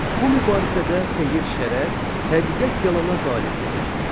Bu mübarizədə xeyir şərə, həqiqət yalana qalib gəlir.